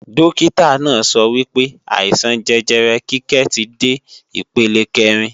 Dókítà náà sọ wípé, àìsàn jẹjẹrẹ Kíkẹ́ ti dé ipele kẹ́rin